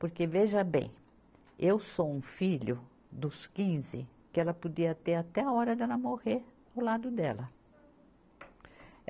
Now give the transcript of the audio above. Porque veja bem, eu sou um filho dos quinze que ela podia ter até a hora dela morrer ao lado dela.